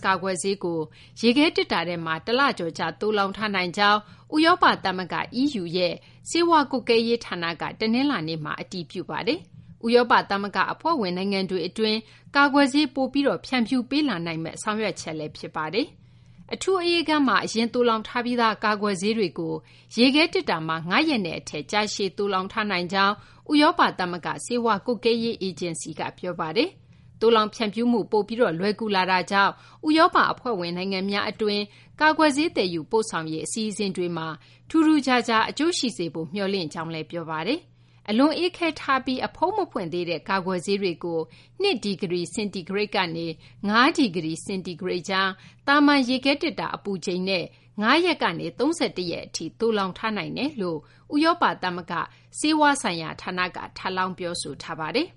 ကာကွယ်ဆေးကို ရေခဲသေတ္တာထဲမှာ တလကျော်ကြာ သိုလှောင်ထားနိုင်ကြောင်း ဥရောပ သမဂ္ဂ EU ရဲ့ ဆေးဝါး ကွပ်ကဲရေး ဌာနက တနလာၤနေ့မှာ အတည်ပြုလိုက်ပါတယ်။ ဥရောပ သမဂ္ဂ အဖွဲ့ဝင် နိုင်ငံတွေ အတွင်း ကာကွယ်ဆေး ပိုပြီး ဖြန့်ဖြူးပေးလာနိုင်မယ့် ဆောင်ရွက်ချက်လည်း ဖြစ်ပါတယ်။ အထူး အအေးခန်းမှာ အရင် သိုလှောင်ထားပြီးသား ကာကွယ်ဆေးတွေကို ရေခဲသေတ္တာမှာ ၅ ရက်နဲ့ အထက် ကြာရှည် သိုလှောင်ထားနိုင်ကြောင်း ဥရောပ သမဂ္ဂ ဆေးဝါး ကွပ်ကဲရေး အေဂျင်စီက ပြောဆိုထားပါတယ်။ သိုလှောင် ဖြန့်ဖြူးမှု ပိုပြီး လွယ်ကူ လာတာကြောင့် ဥရောပ အဖွဲ့ဝင် နိုင်ငံများ အတွင်း ကာကွယ်ဆေး သယ်ယူပို့ဆောင်ရေး အစီအစဉ်တွေမှာ ထူးထူးခြားခြား အကျိုးရှိစေဖို့ မျှော်လင့်ကြောင်းလည်း ပြောဆိုထားပါတယ်။ အလွန်အေးခဲထားပြီး အဖုံးမဖွင့်သေးတဲ့ ကာကွယ်ဆေးတွေကို ၂ ဒီဂရီ စင်တီဂရိတ်ကနေ - ၅ ဒီဂရီ စင်တီဂရိတ်ကြား- သာမန် ရေခဲသေတ္တာ အပူချိန်နဲ့ ၅ ရက်ကနေ ၃၁ ရက်ထိ သိုလှောင်ထားနိုင်ကြောင်း ဥရောပ သမဂ္ဂ ဆေးဝါးဆိုင်ရာ ဌာနက ထပ်လောင်း ပြောဆိုထားပါတယ်